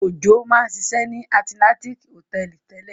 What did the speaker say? Òjó máa ń ṣiṣẹ́ ní Atlantic Hòtẹ́ẹ́lì tẹ́lẹ̀.